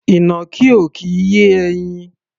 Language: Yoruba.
Ìnàkí ò kì í yé ẹyin.